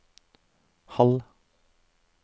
halv